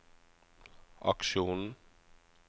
aksjonen